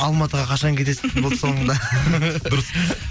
алматыға қашан кетесіз болды соңында дұрыс